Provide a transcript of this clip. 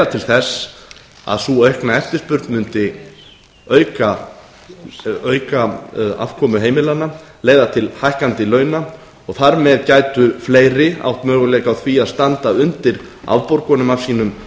til þess að sú aukna eftirspurn mundi auka afkomu heimilanna leiða til hækkandi launa og þar með gætu fleiri átt möguleika á því að standa undir afborgunum af sínum